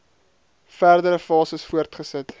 verdere fases voortgesit